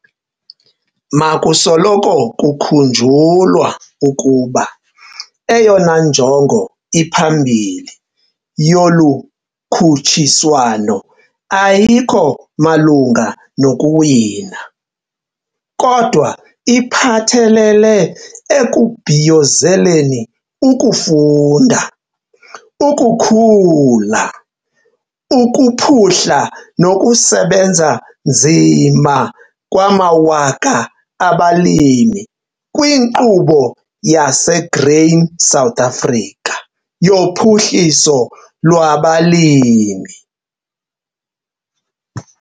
Makusoloko kukhunjulwa ukuba eyona njongo iphambili yolu khutshiswano ayikho malunga nokuwina, kodwa iphathelele ekubhiyozeleni ukufunda, ukukhula, ukuphuhla nokusebenza nzima kwamawaka abalimi kwiNkqubo yaseGrain SA yoPhuhliso lwabaLimi.